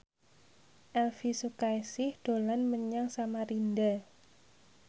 Elvy Sukaesih dolan menyang Samarinda